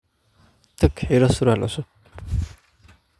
Tag xidho surwaal cusub.